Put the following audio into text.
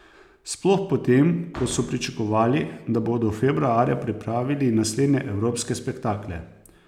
Sploh potem, ko so pričakovali, da bodo februarja, pripravili naslednje evropske spektakle.